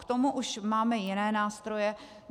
K tomu už máme jiné nástroje.